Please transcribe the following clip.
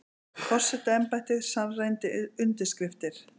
Forsetaembættið sannreyndi undirskriftir